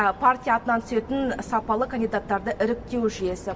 партия атынан түсетін сапалы кандидаттарды іріктеу жүйесі